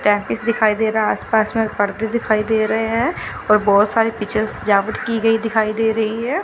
दिखाई दे रहा है आसपास में पर्दे दिखाई दे रहे हैं और बहुत सारे पीछे सजावट की गई दिखाई दे रही है।